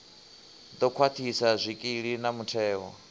ḓo khwaṱhisa zwikili na mutheo